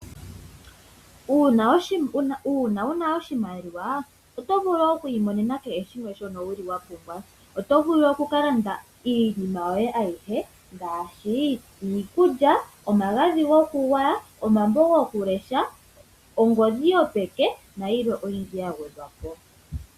Uuna wu na oshimaliwa oto vulu oku imonene kehe shimwe shono wu li wa pumbwa oto vulu okukalanda iinima yoye ayihe ngaashi iikulya omagadhi gokugwaya, omambo gokulesha, ongodhi yo peke nayilwe oyindji yagwe dhwa po.